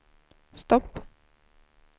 stopp